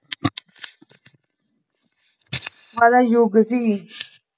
ਵਾਲਾ ਯੁੱਗ ਸੀ